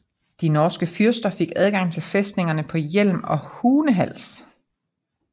De norske fyrster fik adgang til fæstningerne på Hjelm og i Hunehals